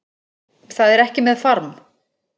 Það er ekki með farm